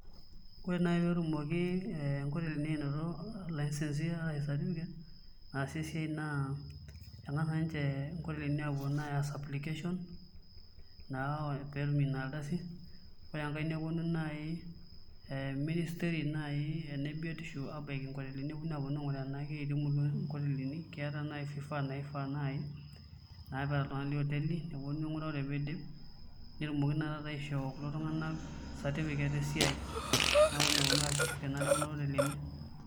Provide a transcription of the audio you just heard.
Ore naaji pe etumoki nkotelini anoto lisence ashu certificate naasie esiai naa kengas apuo ninche nkotelini aya application naa pee etum ina ardasi ,ore enkae neponu naaji ministry Kuna ebiotisho aponu naaji abaiki nkotelinineponu adol tenaa keeta nkotelini fifaa naifaa naaji neeta iltunganak lioteli, neponu ainguraa ore pee eidip, netumoki naa taata aishoo ltunganak certificate esiai neponu naa aasishore tekuna otelini.